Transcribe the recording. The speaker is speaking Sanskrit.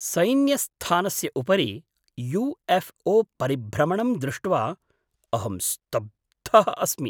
सैन्यस्थानस्य उपरि यु.एफ़्.ओ. परिभ्रमणं दृष्ट्वा अहं स्तब्धः अस्मि।